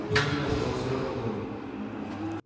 было видно что он серьёзно болен